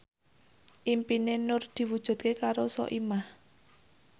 impine Nur diwujudke karo Soimah